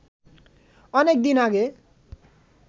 অনেক দিন আগে